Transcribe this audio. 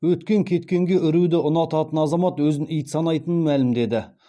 өткен кеткенге үруді ұнататын азамат өзін ит санайтынын мәлімдеді